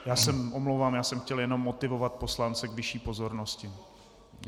Já se omlouvám, já jsem chtěl jenom motivovat poslance k vyšší pozornosti.